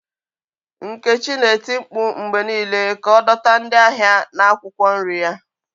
Nkechi na-eti mkpu mgbe niile ka ọ dọta ndị ahịa na akwụkwọ nri ya.